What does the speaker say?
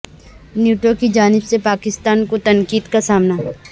NATO کی جانب سے پاکستان کو تنقید کا سامنا